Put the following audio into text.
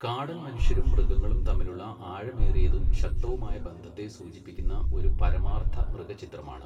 കാടൻ മനുഷ്യരും മൃഗങ്ങളും തമ്മിലുള്ള ആഴമേറിയതും ശക്തവുമായ ബന്ധത്തെ സൂചിപ്പിക്കുന്ന ഒരു പരമാർത്ഥ മൃഗചിത്രമാണ്.